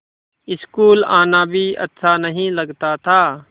school आना भी अच्छा नहीं लगता था